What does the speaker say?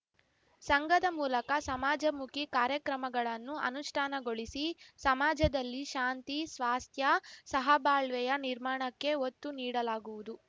ಸಂಘದ ಮೂಲಕ ಸಮಾಜಮುಖಿ ಕಾರ್ಯಕ್ರಮಗಳನ್ನು ಅನುಷ್ಠಾನಗೊಳಿಸಿ ಸಮಾಜದಲ್ಲಿ ಶಾಂತಿ ಸ್ವಾಸ್ಥ್ಯ ಸಹಬಾಳ್ವೆಯ ನಿರ್ಮಾಣಕ್ಕೆ ಒತ್ತು ನೀಡಲಾಗುವುದು